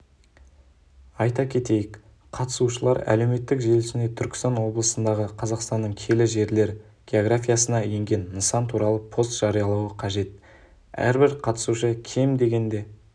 айта кетейік қатысушылар әлеуметтік желісінде түркістан облысындағы қазақстанның киелі жерлер географиясына енген нысан туралы пост жариялауы қажет әрбір қатысушы кем дегенде